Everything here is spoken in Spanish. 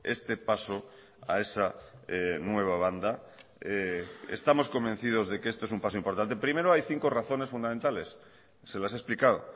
este paso a esa nueva banda estamos convencidos de que esto es un paso importante primero hay cinco razones fundamentales se las he explicado